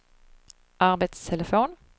arbetstelefon